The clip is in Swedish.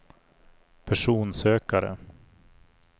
personsökare